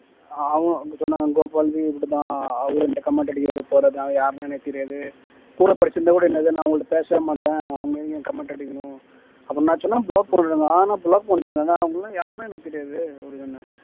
அவனும் அப்படி சொன்னாங்க கோபாலுமே இப்படித்தான் அவரும் என்கிட்ட comment அடிக்கிறாரு அவர் யாருன்னு எனக்கு தெரியாது கூட படிச்சிருந்தா கூட என்னது நான் அவங்ககிட்ட பேசவே மாட்டேன் அவங்க ஏங்க என்ன comment அடிக்கணும் நான் சொன்ன block பண்ணிடுங்க ஆஹ் நான் block பண்ணிட்டேனே அவங்க எல்லாம் யாருன்னே எனக்கு தெரியாது